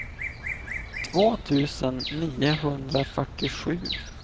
två tusen niohundrafyrtiosju